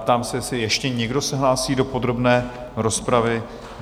Ptám se, jestli ještě někdo se hlásí do podrobné rozpravy?